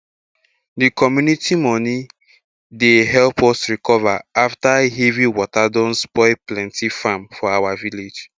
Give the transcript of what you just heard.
de community money dey help us recover after heavy water don spoil plenty farm for our village